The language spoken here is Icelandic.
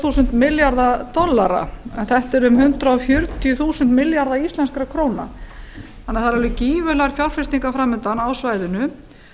þúsund milljarða dollara en þetta er um hundrað fjörutíu þúsund milljarðar íslenskra króna þannig að það eru alveg gífurlegar fjárfestingar framundan á svæðinu